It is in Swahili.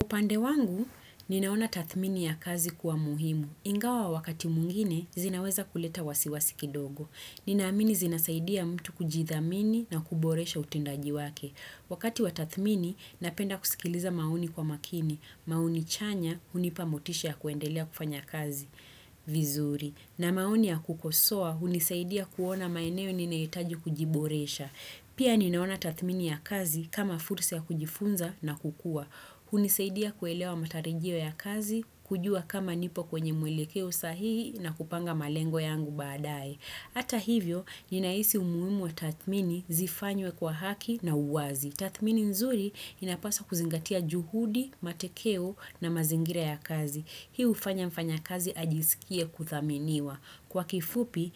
Upande wangu, ninaona tathmini ya kazi kuwa muhimu. Ingawa wakati mwingine, zinaweza kuleta wasiwasi kidogo. Ninaamini zinasaidia mtu kujithamini na kuboresha utindaji wake. Wakati wa tathmini, napenda kusikiliza maoni kwa makini. Maoni chanya, unipa motisha kuendelea kufanya kazi vizuri. Na maoni ya kukosua, unisaidia kuona maeneo ninaitaji kujiboresha. Pia ninaona tathmini ya kazi kama fursa ya kujifunza na kukua. Hunisaidia kuelewa matarijio ya kazi, kujua kama nipo kwenye mwelekeo sahihi na kupanga malengo yangu badai. Ata hivyo, ninaisi umuimu wa tatmini zifanywe kwa haki na uwazi. Tatmini nzuri inapasa kuzingatia juhudi, matekeo na mazingira ya kazi. Hiu ufanya mfanya kazi ajisikie kuthaminiwa. Kwa kifupi,